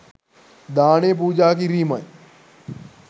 දානය පූජා කිරීමයි.